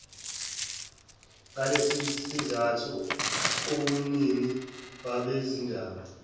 ngalesisizathu ubumnini babezindaba